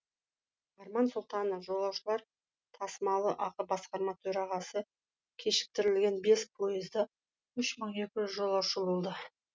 арман сұлтанов жолаушылар тасымалы ақ басқарма төрағасы кешіктірілген бес пойызда үш мың екі жүз жолаушы болды